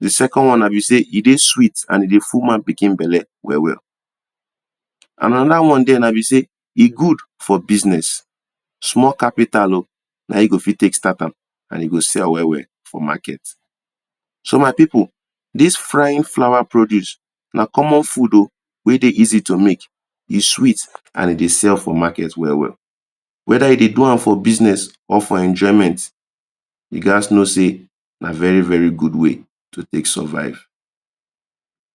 The second one na be say e de sweet and e dey full man pikin belle well well Another one now be say e good for business, small capital o na him you go fit take start am and you go sell well well for market So my people dis frying flour produce na common food o weh de easy to make, e sweet and e dey sell for market well well whether you de do am for business or for enjoyment you gas know say na very very good way to take survive